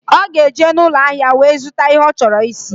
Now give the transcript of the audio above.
Ọ ga-eje n'ụlọahịa wee zụta ihe ọ chọrọ isi.